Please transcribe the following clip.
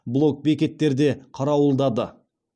блок бекеттерде қарауылдады